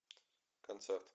концерт